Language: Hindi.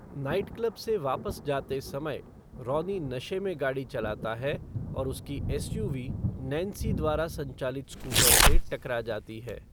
नाइट क्लब से वापस जाते समय, रॉनी नशे में गाड़ी चलाता है और उसकी एसयूवी नैन्सी द्वारा संचालित स्कूटर से टकरा जाती है।